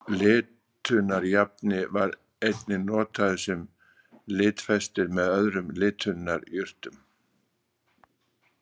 Litunarjafni var einnig notaður sem litfestir með öðrum litunarjurtum.